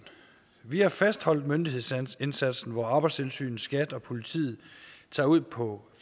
vi har fastholdt myndighedsindsatsen hvor arbejdstilsynet skat og politiet tager ud på